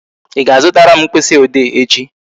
Ị ga-azutara m mkpịsị ode echi?